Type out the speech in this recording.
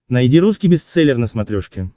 найди русский бестселлер на смотрешке